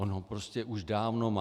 On ho prostě už dávno má.